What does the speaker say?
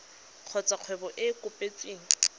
kgotsa kgwebo e e kopetsweng